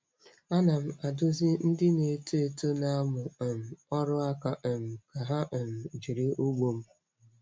Ana m adụzi ndị na-eto eto na-amụ um ọrụ aka um ka ha um jiri ugbo m.